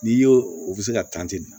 N'i y'o o bɛ se ka tan ten